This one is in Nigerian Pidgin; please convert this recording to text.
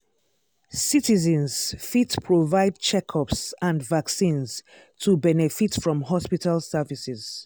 citizens fit provide checkups and vaccines to benefit from hospital services.